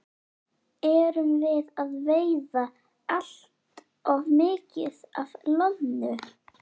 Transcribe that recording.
Erum við að veiða allt of mikið af loðnu?